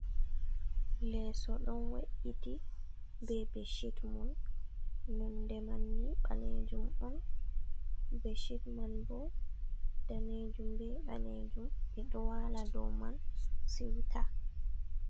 Leeso ɗon we'iti be beshit mun nonde manni ɓalejum on. Beshit man bo danejum be ɓalejum. Ɓeɗo wala dow man siwta.